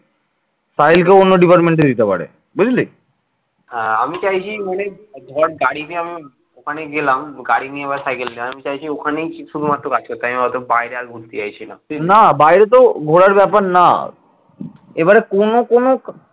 না বাইরেতেও ঘোরার ব্যাপার না এবারে কোন কোন